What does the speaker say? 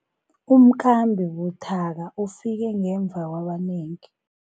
Umkhambi buthaka ufike ngemva kwabanengi